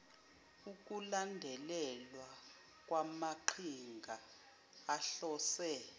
ukulandelelwa kwamaqhinga ahlose